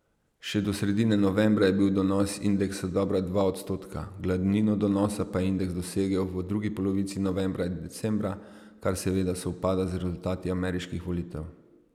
Še do sredine novembra je bil donos indeksa dobra dva odstotka, glavnino donosa pa je indeks dosegel v drugi polovici novembra in decembra, kar seveda sovpada z rezultati ameriških volitev.